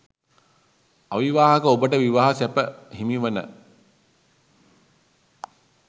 අවිවාහක ඔබට විවාහ සැප හිමිවන